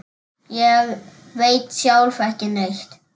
Ég veit sjálf ekki neitt.